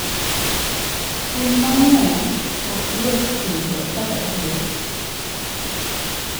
Winy mang'eny ok yot pidho kaka gwen.